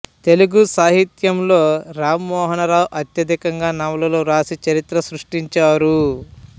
తెలుగు సాహిత్యంలో రామ్మోహనరావు అత్యధికంగా నవలలు వ్రాసి చరిత్ర సృష్టించారు